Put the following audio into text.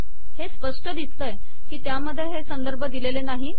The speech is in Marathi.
हे स्पष्ट दिसतय की त्यामध्ये हे संदर्भ दिलेले नाही